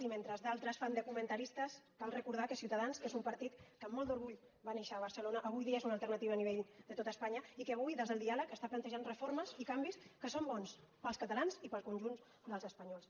i mentre d’altres fan de comentaristes cal recordar que ciutadans que és un partit que amb molt d’orgull va néixer a barcelona avui dia és una alternativa a nivell de tot espanya i que avui des del diàleg està plantejant reformes i canvis que són bons per als catalans i per al conjunt dels espanyols